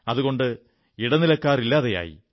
അതുകൊണ്ട് ഇടനിലക്കാർ ഇല്ലാതെയായി